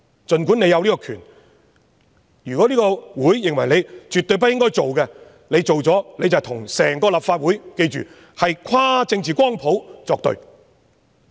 儘管政府有此權力，如果立法會認為絕對不應該做，若這樣做的話，便是跟整個立法會——大家要記得，是跨政治光譜的議員——作對。